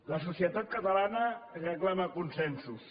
la societat catalana reclama consensos